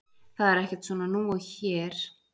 Það er ekkert svona nú hér og við skulum ekki neitt.